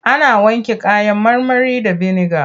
Ana wanke kayan marmari da biniga.